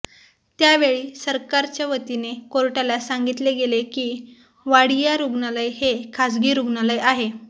त्यावेळी सरकारच्यावतीने कोर्टाला सांगितले गेले की वाडिया रुग्णालय हे खासगी रुग्णालय आहे